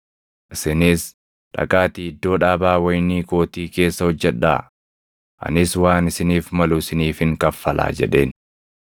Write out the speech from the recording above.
‘Isinis dhaqaatii iddoo dhaabaa wayinii kootii keessa hojjedhaa; anis waan isiniif malu isiniifin kaffalaa’ jedheen.